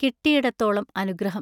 കിട്ടിയിടത്തോളം അനുഗ്രഹം.